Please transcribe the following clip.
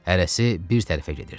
Hərəsi bir tərəfə gedirdi.